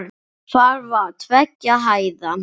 Það var tveggja hæða.